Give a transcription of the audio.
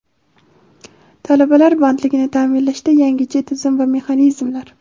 Talabalar bandligini taʼminlashda yangicha tizim va mexanizmlar.